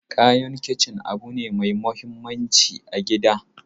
Kayan kicin abu ne mai muhimmanci a gida.